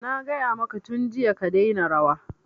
Na gaya maka tun jiya ka daina rawa!